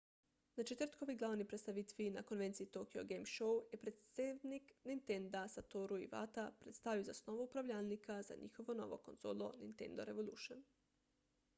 na četrtkovi glavni predstavitvi na konvenciji tokyo game show je predsednik nintenda satoru iwata predstavil zasnovo upravljalnika za njihovo novo konzolo nintendo revolution